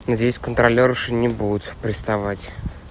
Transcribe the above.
здесь контролёры не будут приставать